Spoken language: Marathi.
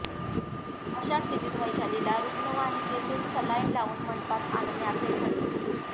अशा स्थितीत वैशालीला रुग्णवाहिकेतून सलाईन लावून मंडपात आणण्याचे ठरले